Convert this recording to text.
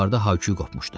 Yuxarıda hay-küy qopmuşdu.